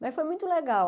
Mas foi muito legal.